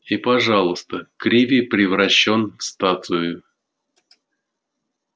и пожалуйста криви превращён в статую